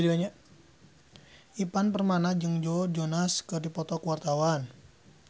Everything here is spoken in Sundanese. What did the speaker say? Ivan Permana jeung Joe Jonas keur dipoto ku wartawan